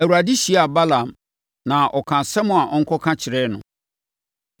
Awurade hyiaa Balaam na ɔkaa asɛm a ɔnkɔka kyerɛɛ no.